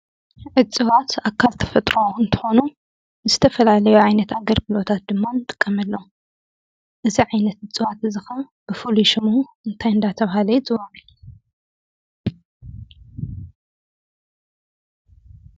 እፅዋት ኣካል ተፈጥሮ እንትኾኑ ንዝተፈላለዩ ዓይነት ኣገልግሎታት ድማ ንጥቀመሎም:: እዚ ዓይነት እፅዋት እዚ ከዓ ብፍሉይ ሽሙ እንታይ እንዳተበሃለ ይፅዋዕ ?